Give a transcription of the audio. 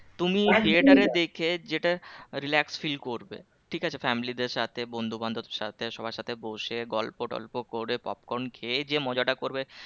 তুমি থিয়েটারে দেখে যেটা relax feel করবে ঠিক আছে family দের সাথে বন্ধু বান্ধবদের সাথে সবার সাথে বসে গল্প টল্প করে popcorn খেয়ে যে মজাটা করবে